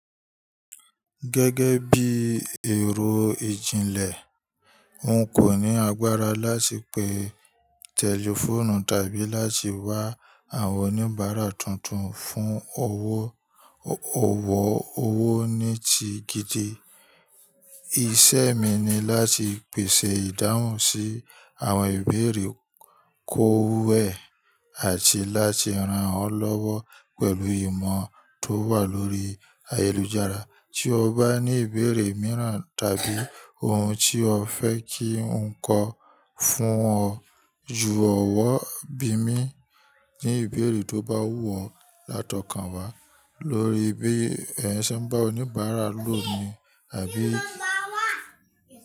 Gẹ́gẹ́ bí i èrò ìjìnlẹ̀, n kò ní agbára láti pe tẹlifóònù tàbí láti wá àwọn oníbàárà tuntun fún ọwọ́, ò wọ̀ owó nì tí gidi. Iṣẹ́ mi ni láti pèsè ìdáhùn sí àwọn ìbéèrè ko wẹ́ àti láti rán ọ́ lọ́wọ́ pẹ̀lú ìmọ̀ tó wà lórí ayélujára. Tí o bá ní ìbéèrè mìíràn tàbí ohun tí o fẹ́ kí n kọ fún ọ, ju ọ̀wọ̀ bí mi. Ni ìbéèrè tó bá wù ọ́, látọkàn wá lórí bí ẹ̀eyan se n bá oníbàárà lò ni àbí.